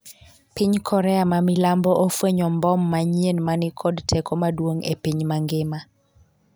piny Korea ma milambo ofwenyo mbom manyien ma ni kod teko maduong' e piny mangima